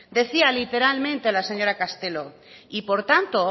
decía literalmente la señora castelo y por tanto